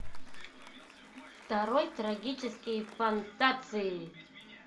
второй трагический фантоцци